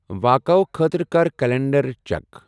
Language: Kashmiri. واقعَو خٲطرٕ کر کلینڑد چیک ۔